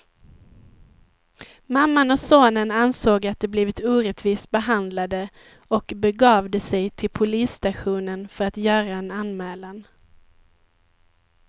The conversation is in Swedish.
Mamman och sonen ansåg att de blivit orättvist behandlade och begav de sig till polisstationen för att göra en anmälan.